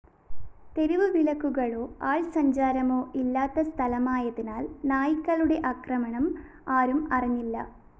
തെരുവുവിളക്കുകളോ ആള്‍സഞ്ചാരമോ ഇല്ലാത്ത സ്ഥലമായതിനാല്‍ നായ്ക്കളുടെ ആക്രമണം ആരും അറിഞ്ഞില്ല